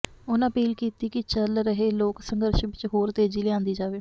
ਉਨ੍ਹਾਂ ਅਪੀਲ ਕੀਤੀ ਕਿ ਚੱਲ ਰਹੇ ਲੋਕ ਸੰਘਰਸ਼ ਵਿਚ ਹੋਰ ਤੇਜ਼ੀ ਲਿਆਦੀ ਜਾਵੇ